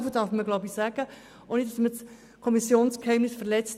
Etwas darf man wohl sagen, ohne das Kommissionsgeheimnis zu verletzen: